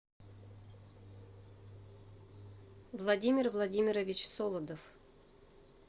владимир владимирович солодов